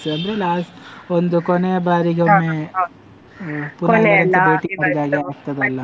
ಅಂದ್ರೆ last ಒಂದು ಕೊನೆಯ ಬಾರಿಗೆ .